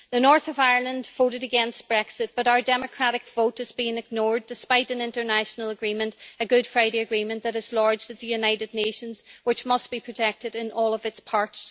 The north of Ireland voted against Brexit, but our democratic vote has been ignored despite an international agreement, a Good Friday agreement that is lodged at the United Nations and which must be protected in all of its parts.